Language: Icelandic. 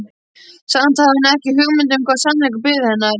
Samt hafði hún ekki hugmynd um hvaða sannleikur biði hennar.